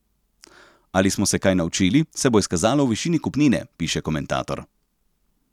Ali smo se kaj naučili, se bo izkazalo v višini kupnine, piše komentator.